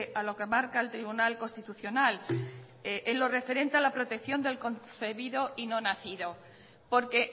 a lo que marca el tribunal constitucional en lo referente a la protección de concebido y no nacido porque